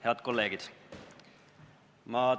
Head kolleegid!